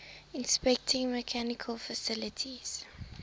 inspecting medical facilities